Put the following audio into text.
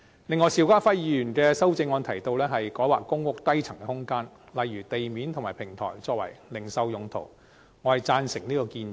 此外，邵家輝議員的修正案提及改劃公屋低層空間，例如地面及平台用作零售用途，我贊成這建議。